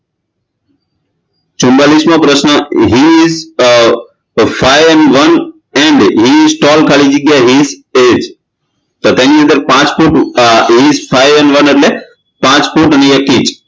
ચૂમમાલીસમો પ્રશ્ન he is five an one and he is tall ખાલી જગ્યા he is તો તેની અંદર પાંચ foot he is five an one એટલે પાંચ ફૂટ ને એક ઇંચ